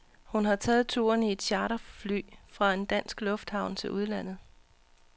Hun har taget turen i et charterfly fra en dansk lufthavn til udlandet.